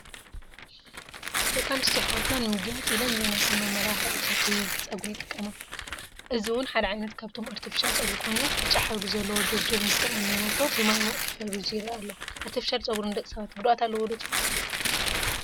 ደቂ ኣንስትዮ ኣሕዋት ንምግያፅ ኢለን ዘይናተን መመላኽዕታት ዊግ ፀጉሪ ይጥቀማ፡፡ እዚ ውን ሓደ ዓይነት ካብቶም ኣርቴፊሻል ፀጉሪ ኮይኑ ብጫ ሕብሪ ዘለዎ ጀብጀብ ምስተቆነነቶ ብማይ ሙቕ ተፈሪዙ ይረአ ኣሎ፡፡ ኣርቴፊሻል ፀጉሪ ንደቂ ሰባት ጉድኣት ኣለዎ ትብሉ?